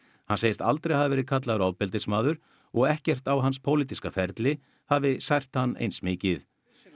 hann segist aldrei hafa verið kallaður ofbeldismaður og ekkert á hans pólitíska ferli hafi sært hann eins mikið